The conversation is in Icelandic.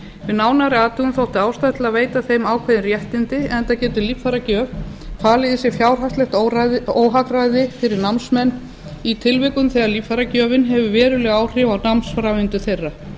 við nánari athugun þótti ástæða til að veita þeim ákveðin réttindi enda getur líffæragjöf falið í sér fjárhagslegt óhagræði fyrir námsmenn í tilvikum þegar líffæragjöfin hefur veruleg áhrif á námsframvindu þeirra